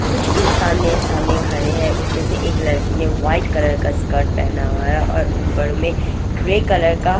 कुछ इंसान मेरे सामने खड़े हैं उसमें से एक लड़की ने व्हाइट कलर का स्कर्ट पहना हुआ है और ऊपर में ग्रे कलर का।